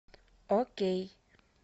окей